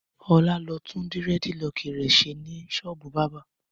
Ọlá lọ tún dẹ́rẹ́dilọkì rẹ̀ ṣe ní ṣọ́ọ́bù bábà.